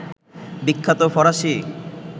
বিখ্যাত ফরাসি